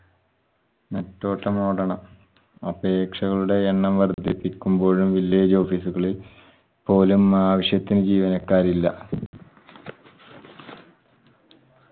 നെട്ടോട്ടമോടണം അപേക്ഷകളുടെ എണ്ണം വര്ധിപ്പിക്കുമ്പോഴും village office ഉകളിൽ പോലും ആവശ്യത്തിന് ജീവനക്കാരില്ല.